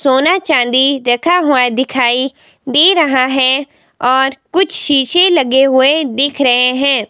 सोना चांदी रखा हुआ दिखाई दे रहा है और कुछ शीशे लगे हुए दिख रहे हैं।